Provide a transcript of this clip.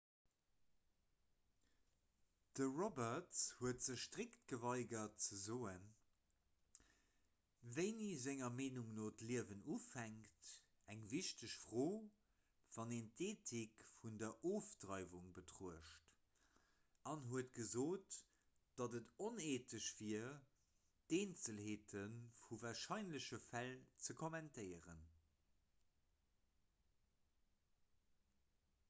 de roberts huet sech strikt geweigert ze soen wéini senger meenung no d'liewen ufänkt eng wichteg fro wann een d'eethik vun der ofdreiwung betruecht an huet gesot datt et oneethesch wier d'eenzelheete vu warscheinleche fäll ze kommentéieren